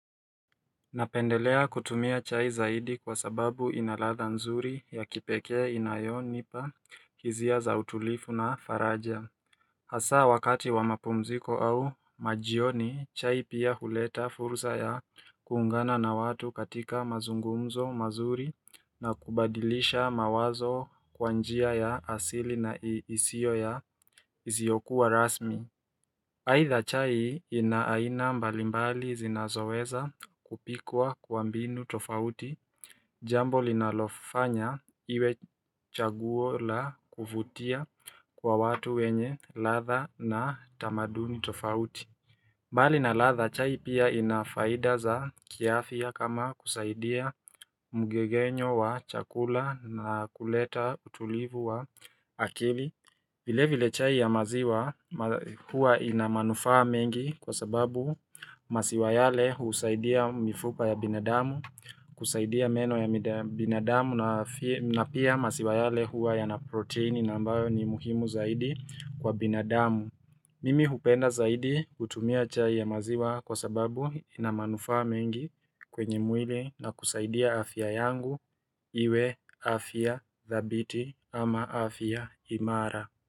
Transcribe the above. Napendelea kutumia chai zaidi kwa sababu ina ladha nzuri ya kipekee inayonipa hizia za utulifu na faraja Hasaa wakati wa mapumziko au majioni chai pia huleta fursa ya kuungana na watu katika mazungumzo mazuri na kubadilisha mawazo kwa njia ya asili na isio ya iziokuwa rasmi Haidha chai ina aina mbalimbali zinazoweza kupikwa kwa mbinu tofauti Jambo linalofanya iwe chaguo la kuvutia kwa watu wenye ladha na tamaduni tofauti mbali na ladha chai pia ina faida za kiafya kama kusaidia mgegenyo wa chakula na kuleta utulivu wa akili vile vile chai ya maziwa huwa ina manufaa mengi kwa sababu masiwa yale husaidia mifupa ya binadamu, kusaidia meno ya binadamu na pia masiwa yale huwa yana proteini na ambayo ni muhimu zaidi kwa binadamu. Mimi hupenda zaidi kutumia chai ya maziwa kwa sababu ina manufaa mengi kwenye mwili na kusaidia afya yangu iwe afya dhabiti ama afya imara.